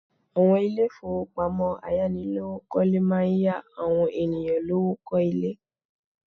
Àwọn Ilé ìfowópamọ́ ayánilówó kọ́lé máa ń yá àwọn ènìyàn lówó kọ́lé